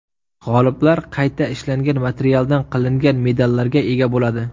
G‘oliblar qayta ishlangan materialdan qilingan medallarga ega bo‘ladi.